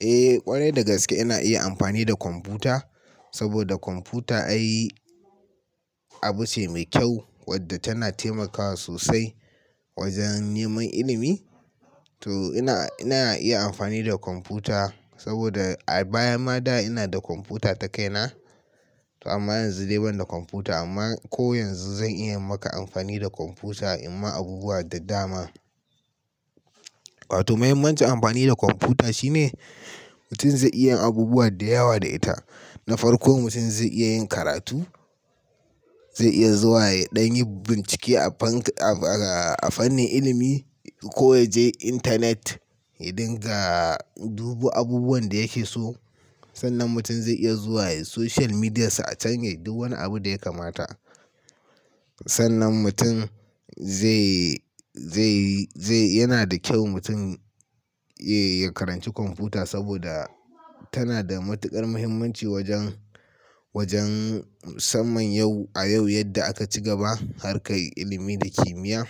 Eh ƙwarai da gaske ina iya amfani da kwamfuta, saboda kwamfuta abu ce mai kyau wadda tana taimakawa sosai wajen neman ilimi. To ina, ina iya amfani da kwamfuta saboda a baya ma da ina da kwamfuta ta kaina. To amma yanzu dai ban da kwamfuta amma ko yanzu zan iya maka amfani da kwamfuta, amma abubuwa da dama. To mahimmancin amfani da kwamfuta shine mutum zai iya yin abubuwa da yawa da ita. Na farko mutum zai iya yin karatu, zai iya zuwa ɗan bincike a fannin, a fannin ilimi ko yaje intanet, ya dinga dubu abubuwan da yake so. Sannan mutum zai iya zuwa soshiyal midiyarsa a can yai duk wani abun da ya kamata. Sannan mutum zai, zai, zai, yana da kyau mutum ya yi, ya karanci kwamfuta saboda tana da matuƙar mahimmanci wajen, wajen musamman yau, a yau yadda aka ci gaba harkar ilimi da kimiyya.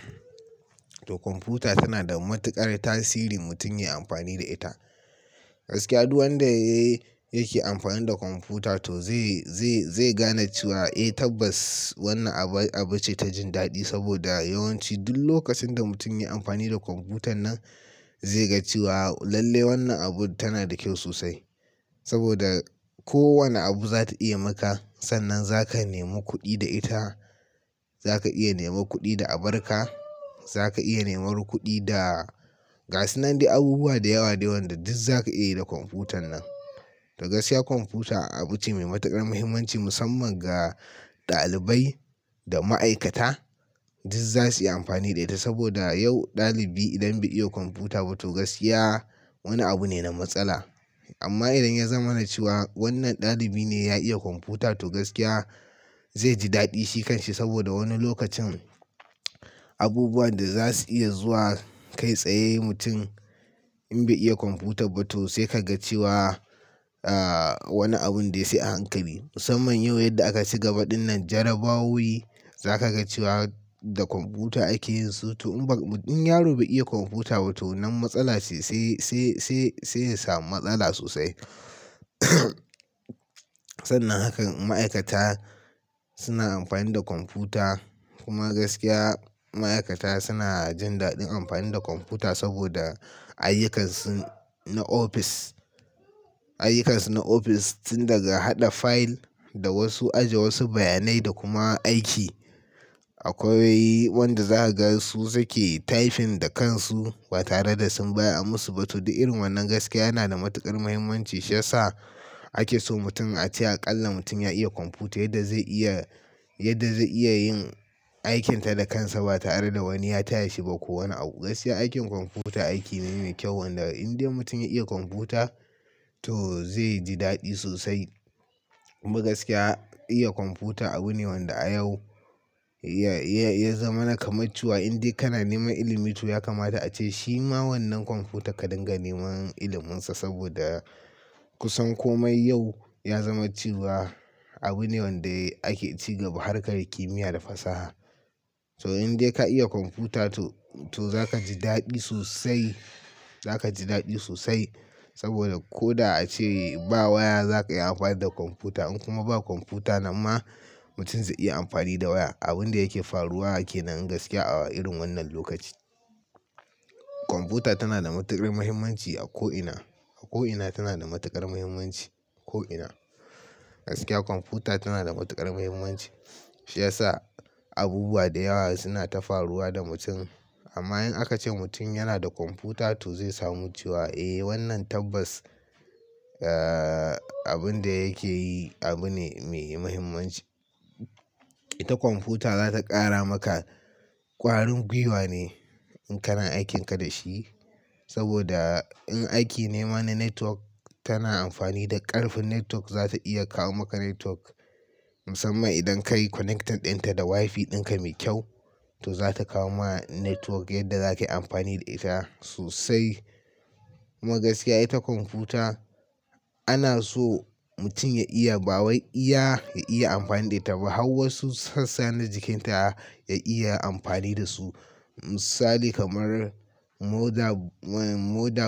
To kwamfuta tana da matuƙar tasiri mutum ya yi amfani da ita. Gaskiya duk wanda ya ke amfani da kwamfuta to zai, zai, zai gane cewa eh tabbas wannan abu, abu ce ta jin daɗi saboda yawanci duk lokacin da mutum ya yi amfani da kwamfutan nan zai ga cewa lalle wannan abu tana da kyau sosai. Sannan mutum zai iya zuwa soshiyal midiyarsa a can yai duk wani abun da ya kamata. Zaka iya neman kuɗi da abar ka, za ka iya nemar kuɗi da gasu nan dai abubuwa da yawa dai wanda duk za ka iya yi da kwamfutan nan. To gaskiya kwamfuta abu ce mai matuƙar mahimmanci musamman ga ɗalibai da ma'aikata duk za su iya amfani da ita saboda yau ɗalibi idan bai iya kwamfuta ba to gaskiya wani abu ne na matsala. Amma idan ya zama na cewa wannan ɗalibi ne ya iya kwamfuta to gaskiya zai ji daɗi shi kan shi saboda wani lokacin abubuwan da za su iya zuwa kai tsaye mutum in bai iya kwamfuta ba to sai ka ga cewa ah wani abun dai sai a hankali. Musamman yau yadda aka ci gaba ɗinnan jarabawowi, za ka ga cewa da kwamfuta ake yin su. To in baka, in yaro bai iya kwamfuta ba to wanan matsala ce sai, sai, sai, sai ya samu matsala sosai. Sannan hakan ma'aikata suna amfani da kwamfuta. Kuma gaskiya ma'aikata suna jin daɗin amfani da kwamfuta saboda ayyukansu na ofis, ayyukansu na ofis sun daga haɗa fayil da wasu ajiye wasu bayanai da kuma aiki. Akwai wanda za ka ga su suke taifin da kansu ba tare da sun bayar a musu ba. To, duk irin wannan gaskiya yana da matuƙar mahimmanci shiyasa ake so mutum a ce aƙalla mutum ya iya kwamfuta yadda zai iya, yadda zai iya yin aikinta da kansa ba tare da wani ya taya shi ba ko wani abu. Gaskiya aikin kwamfuta aiki ne mai kyau wanda in dai mutum ya iya kwamfuta to zai ji daɗi sosai. Kuma gaskiya iya kwamfuta abu ne wanda a yau ya, ya, ya zamana kaman cewa. In dai kana neman ilimi to ya kamata ace shi ma wannan kwamfuta ka dinga neman iliminsa saboda kusan komai yau ya zama cewa. Abu ne wanda ake ci gaba harkar kimiyya da fasaha. To in dai ka iya kwamfuta to, to za ka ji daɗi sosai. Za ka ji daɗi sosai saboda ko da ace ba waya za ka iya amfani da kwamfuta in kuma ba kwamfuta nama mutum zai iya amfani da waya. Abun da yake faruwa kenan gaskiya a irin wannan lokaci. Kwamfuta tana da matuƙar muhimmanci a ko'ina, a ko'ina tana da matuƙar muhimmanci, ko'ina. Gaskiya kwamfuta tana da matuƙar muhimmanci shiyasa abubuwa da yawa suna ta faruwa da mutum. Amma in aka ce mutum yana da kwamfuta to zai samu cewa eh wannan tabbas ah abun da yake yi abu ne mai muhimmanci. Ita kwamfuta za ta ƙara maka ƙwarin gwiwa ne in kana aikinka da shi. Saboda in aiki nema na network tana amfani da ƙarfin network za ta iya kawo maka network. Musamman idan ka yi connecting ɗinta da Wi-fi ɗinka mai kyau to za ta kawo ma network yadda za ka yi amfani da ita sosai. Kuma gaskiya ita kwamfuta ana so mutum ya iya, ba wai iya, ya iya amfani da ita ba, har wasu sassa na jikinta ya iya amfani da su. Misali kamar moda, eh moda.